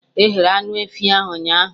E ghere anụ efi ahụ ụnyaahụ